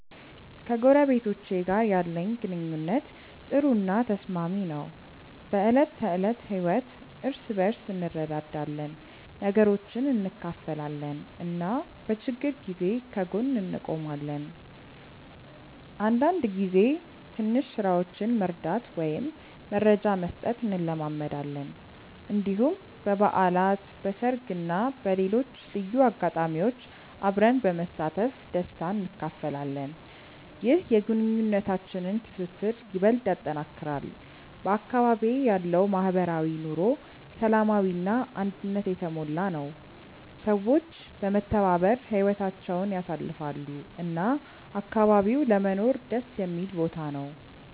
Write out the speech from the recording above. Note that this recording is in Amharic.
ከጎረቤቶቼ ጋር ያለኝ ግንኙነት ጥሩ እና ተስማሚ ነው። በዕለት ተዕለት ህይወት እርስ በርስ እንረዳዳለን፣ ነገሮችን እንካፈላለን እና በችግር ጊዜ ከጎን እንቆማለን። አንዳንድ ጊዜ ትንሽ ስራዎችን መርዳት ወይም መረጃ መስጠት እንለማመዳለን። እንዲሁም በበዓላት፣ በሰርግ እና በሌሎች ልዩ አጋጣሚዎች አብረን በመሳተፍ ደስታ እንካፈላለን። ይህ የግንኙነታችንን ትስስር ይበልጥ ያጠናክራል። በአካባቢዬ ያለው ማህበራዊ ኑሮ ሰላማዊ እና አንድነት የተሞላ ነው፤ ሰዎች በመተባበር ህይወታቸውን ያሳልፋሉ እና አካባቢው ለመኖር ደስ የሚል ቦታ ነው።